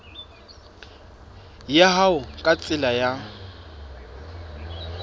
ya hao ka tsela ya